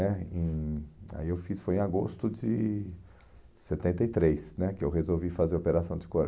Aí eu fiz, foi em agosto de setenta e três né, que eu resolvi fazer a operação de